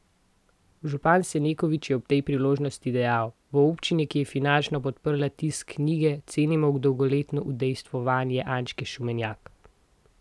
Župan Senekovič je ob tej priložnosti dejal: "V občini, ki je finančno podprla tisk knjige, cenimo dolgoletno udejstvovanje Ančke Šumenjak.